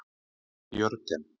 Jörgen